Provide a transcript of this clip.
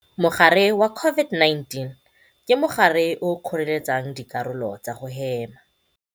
Mogare wa COVID-19 ke mogare o o kgoreletsang dikarolo tsa go hema.